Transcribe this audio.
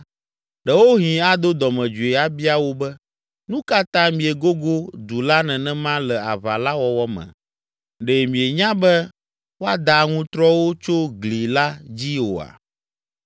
ɖewohĩ ado dɔmedzoe abia wò be, ‘Nu ka ta miegogo du la nenema le aʋa la wɔwɔ me? Ɖe mienya be woada aŋutrɔwo tso gli la dzi oa?